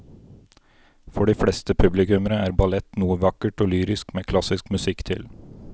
For de fleste publikummere er ballett noe vakkert og lyrisk med klassisk musikk til.